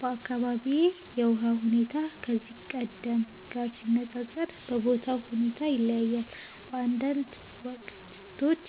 በአካባቢዬ የውሃ ሁኔታ ከዚህ ቀደም ጋር ሲነፃፀር በቦታው ሁኔታ ይለያያል። በአንዳንድ ወቅቶች